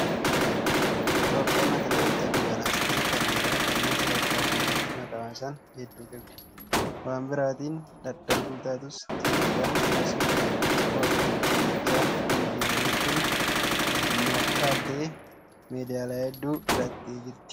Itoophiyaan atileetota dubaraas ta'ee kan dhiiraa kanneen sadarkaa addunyaatti maqaa waamsisan hedduu qabdi. Waan biraatiin dadhabduu taatus Itoophiyaan gosa ispoortii fiigichaa kanaan yeroo hedduu addunyaa caaltee meedaaliyaa hedduu fudhataa jirti.